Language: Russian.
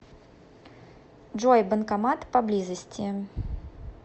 джой банкомат по близости